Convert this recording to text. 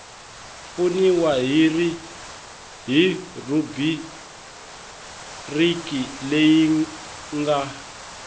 pfuniwa hi rhubiriki leyi nga